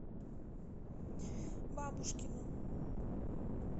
бабушкину